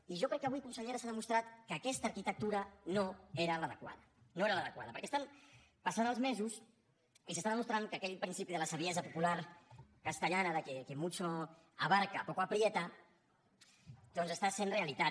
i jo crec que avui consellera s’ha demostrat que aquesta arquitectura no era l’adequada no era l’adequada perquè estan passant els mesos i s’està demostrant que aquell principi de la saviesa popular castellana de que quien mucho abarca poco aprieta doncs està sent realitat